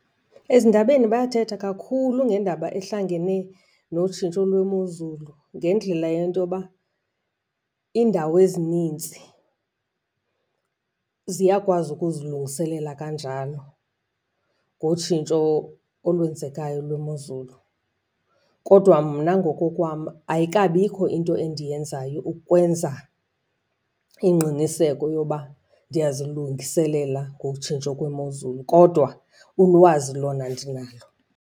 Ezindabeni bayathetha kakhulu ngendaba ahlangene notshintsho lwemozulu ngendlela yento yoba iindawo ezininzi ziyakwazi ukuzilungiselela kanjalo ngotshintsho olwenzekayo lwemozulu. Kodwa mna ngokokwam ayikabi ayikho into endiyenzayo ukwenza ingqiniseko yoba ndiyazilungiselela ngotshintsho kwemozulu kodwa ulwazi lona ndinalo.